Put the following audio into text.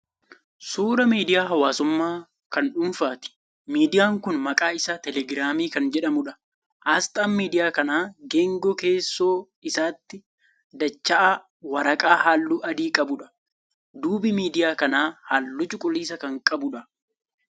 Suuraa miidiyaa hawaasummaa kan dhuunfaati. Miidiyaan kun maqaan isaa 'Teelegiraamii' kan jedhamuudha. Asxaan miidiyaa kanaa geengoo keessoo isaatii dacha'aa waraqaa halluu adii qabuudha. Duubi miidiyaa kanaa halluu cuquliisa kan qabuudha.